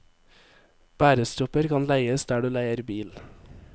Bærestropper kan leies der du leier bil.